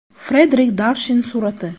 Frederik Darshin surati.